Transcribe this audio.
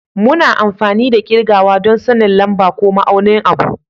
Muna amfani da kirgawa don sanin lamba ko ma'aunin abu